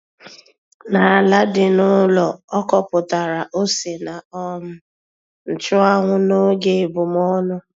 N'ala dị n'ụlọ, ọ kọpụtara ose na um nchụanwụ n'oge ebumọnụ.